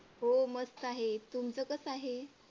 हो मस्त आहेत. तुमचं कस आहे?